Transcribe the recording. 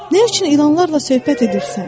Nə üçün ilanlarla söhbət edirsən?